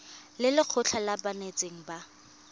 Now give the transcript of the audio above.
le lekgotlha la banetetshi ba